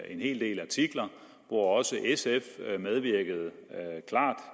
en hel del artikler hvor også sf medvirkede klart